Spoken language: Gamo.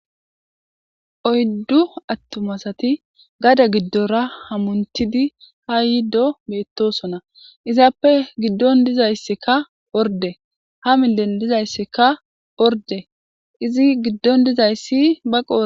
oyddu attuma asati gade giddora hamuntidi ha yiddo beettosona izaappe giddon dizayssikka orde ha milen dizayssikka orde izi giddon dizayssi ba qodhe